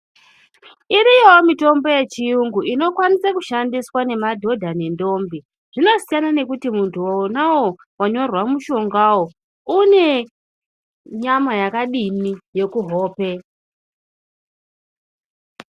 Iriyowo mitombo yechiyungu inokwaniswawo kushandiswa ngemadhodha nentombi, zvinosiyana nekuti muntu enawo wanyorerwa mushongawo une nyama yakadini yekuhope.